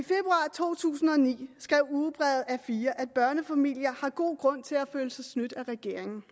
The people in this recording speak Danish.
to tusind og ni skrev ugebrevet a4 at børnefamilier har god grund til at føle sig snydt af regeringen